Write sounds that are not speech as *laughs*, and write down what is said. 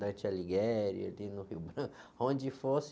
*unintelligible* ali no Rio Branco, *laughs* onde fosse.